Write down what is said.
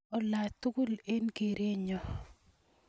Olaa tukul eng kerenyo